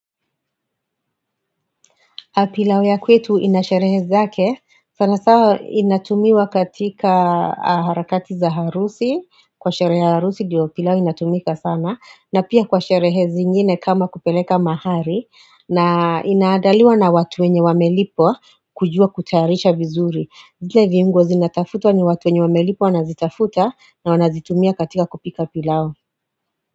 Pilau ya kwetu inasherehe zake, sana sana inatumiwa katika harakati za harusi, kwa sherehe ya harusi diyo pilau inatumika sana, na pia kwa sherehe zi ngine kama kupeleka mahali, na inadaliwa na watu wenye wamelipwa kujua kutayarisha vizuri. Ndio viungo zinatafutwa ni watu wenye wamelipwa wanazitafuta na wanazitumia katika kupika pilau.